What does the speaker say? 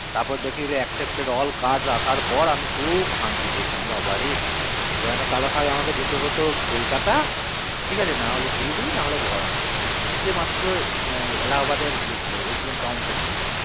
তার পর দেখি accepted all crad রাখার পর আমি খুব শান্তি পেয়েছিলাম বাবারে তা নাহলে আমাকে যেতে হতো কলকাতায় ঠিক আছে নাহলে শিলিগুড়ি নাহলে বেরহমপুর এই তিনটি মাত্র এলাহাবাদের counter ছিল বাবারে